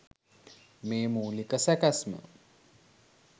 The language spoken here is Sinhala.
මේ මූලික සැකැස්ම